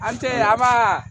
An tɛ a b'a